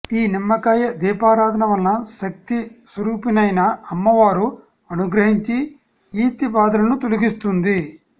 ఈ నిమ్మకాయ దీపారాధన వలన శక్తి స్వరుపినైన అమ్మవారు అనుగ్రహించి ఈతి భాదలను తొలగిస్తుంది